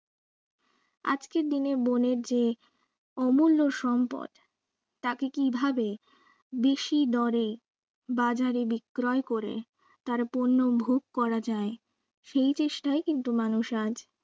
আজকের দিনের বনের যে অমূল্য সম্পদ তাকে কিভাবে বেশি দরে বাজারে বিক্রয় করে তার পণ্য ভোগ করা যায় সেই চেষ্টাই কিন্তু মানুষ আজ